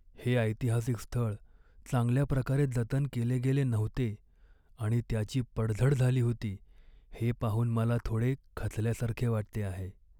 हे ऐतिहासिक स्थळ चांगल्या प्रकारे जतन केले गेले नव्हते आणि त्याची पडझड झाली होती हे पाहून मला थोडे खचल्यासारखे वाटते आहे.